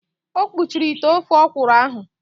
O kpuchiri ite ofe ọkwụrụ ahụ.